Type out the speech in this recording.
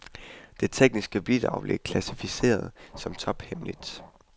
Det tekniske bilag blev klassificeret som tophemmeligt.